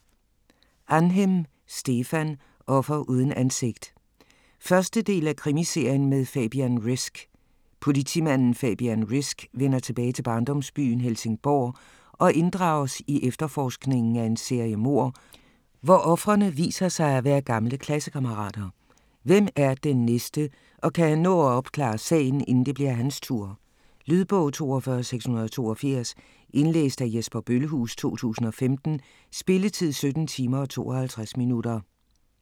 Ahnhem, Stefan: Offer uden ansigt 1. del af Krimiserien med Fabian Risk. Politimanden Fabian Risk vender tilbage til barndomsbyen, Helsingborg, og inddrages i efterforskningen af en serie mord, hvor ofrene viser sig at være gamle klassekammerater. Hvem er den næste, og kan han nå at opklare sagen, inden det bliver hans tur? Lydbog 42682 Indlæst af Jesper Bøllehuus, 2015. Spilletid: 17 timer, 52 minutter.